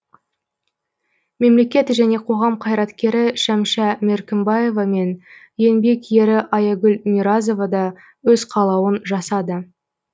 мемлекет және қоғам қайраткері шәмшә меркімбаева мен еңбек ері аягүл миразова да өз қалауын жасады